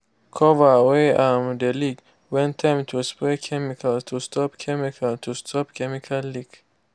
cover wey um de leak when time to spray chemical to stop chemical to stop chemical leak.